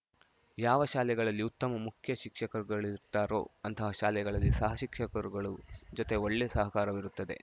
ಯಾವ ಶಾಲೆಗಳಲ್ಲಿ ಉತ್ತಮ ಮುಖ್ಯ ಶಿಕ್ಷಕರುಗಳಿರುತ್ತಾರೋ ಅಂತಹ ಶಾಲೆಗಳಲ್ಲಿ ಸಹ ಶಿಕ್ಷಕರುಗಳು ಜೊತೆ ಒಳ್ಳೆ ಸಹಕಾರವಿರುತ್ತದೆ